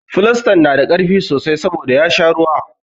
Filistan na da ƙarfi sosai saboda ya sha ruwa.